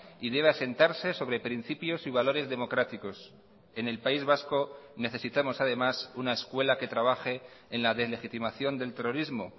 y debe asentarse sobre principios y valores democráticos en el país vasco necesitamos además una escuela que trabaje en la deslegitimación del terrorismo